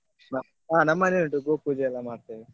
ಹ ನಮ್ಮ ಮನೇಲಿ ಉಂಟು ಗೋಪೂಜೆ ಎಲ್ಲ ಮಾಡ್ತೇವೆ.